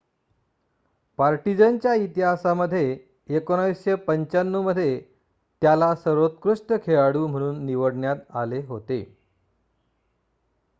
partisan च्या इतिहासामध्ये 1995 मध्ये त्याला सर्वोत्कृष्ट खेळाडू म्हणून निवडण्यात आले होते